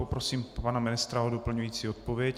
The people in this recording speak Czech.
Poprosím pana ministra o doplňující odpověď.